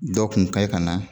Dɔ kun kan ye ka na